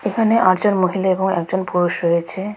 এখানে আটজন মহিলা এবং একজন পুরুষ রয়েছে.